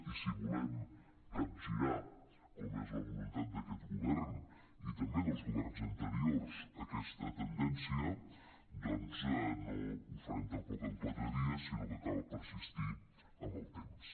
i si volem capgirar com és la voluntat d’aquest govern i també dels governs anteriors aquesta tendència doncs no ho farem tampoc en quatre dies sinó que cal persistir en el temps